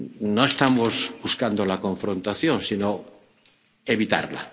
No estamos buscando la confrontación, sino evitarla.